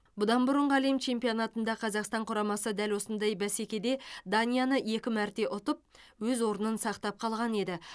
бұдан бұрынғы әлем чемпионатында қазақстан құрамасы дәл осындай бәсекеде данияны екі мәрте ұтып өз орнын сақтап қалған еді